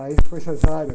Aí foi cesárea.